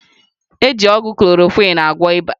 Eji ọgwụ Klorokwịn agwọ ịba.